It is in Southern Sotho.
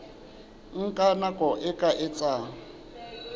nka nako e ka etsang